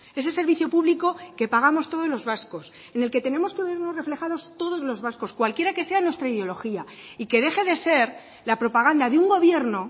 ese servicio público que pagamos todos los vascos en el que tenemos que oírnos reflejados todos los vascos cualquiera que sea nuestra ideología y que deje de ser la propaganda de un gobierno